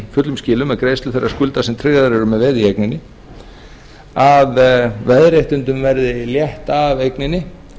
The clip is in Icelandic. fullum skilum með greiðslu þeirra skulda sem tryggðar eru með veði í eigninni að veðréttindum verði létt af eigninni